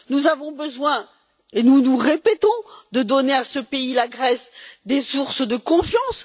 Nous avons besoin et nous nous répétons de donner à la Grèce des sources de confiance.